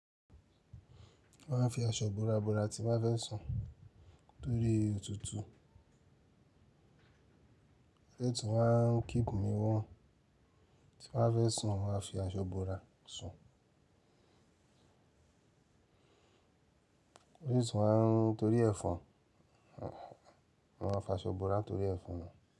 Mo máa ń fi aṣọ bora bora tín bá fẹ́ sùn torí òtútù. Ó dẹ̀ tún máa ń keep me warm, tín bá fẹ́ sùn máa fi aṣọ bora sùn. Ode tún máa ń, torí ẹ̀fọn, mo máa ń fi aṣọ bora torí ẹ̀fọn.